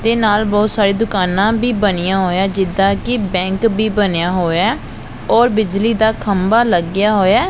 ਤੇ ਨਾਲ ਬਹੁਤ ਸਾਰੇ ਦੁਕਾਨਾਂ ਵੀ ਬਣੀਆਂ ਹੋਇਆ ਜਿੱਦਾਂ ਕਿ ਬੈਂਕ ਵੀ ਬਣਿਆ ਹੋਇਆ ਔਰ ਬਿਜਲੀ ਦਾ ਖੰਭਾ ਲੱਗਿਆ ਹੋਇਆ।